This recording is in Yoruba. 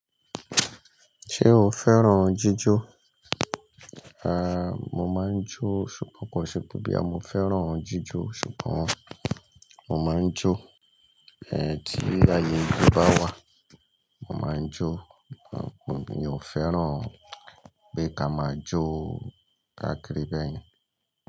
Ṣé o fẹ́ràn jíjó? A, mo máa ń jó ṣùgbọ́n kò ṣe pé bí a mo fẹ́ràn jíjó ṣùgbọ́n mo máa ń jó, ẹ́ tí àyè ijó bá wà mo máa ń jó. Ṣùgbọ́n mi ò fẹ́ràn pé ká máa jó káakiri bẹ́ẹ̀ yẹn.